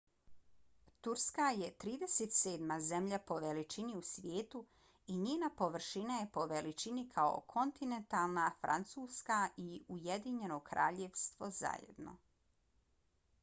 turska je 37. zemlja po veličini u svijetu i njena površina je po veličini kao kontinentalna francuska i ujedinjeno kraljevstvo zajedno